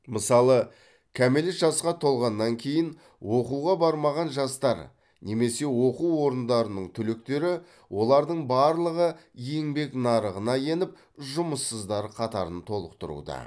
мысалы кәмелет жасқа толғаннан кейін оқуға бармаған жастар немесе оқу орындарының түлектері олардың барлығы еңбек нарығына еніп жұмыссыздар қатарын толықтыруда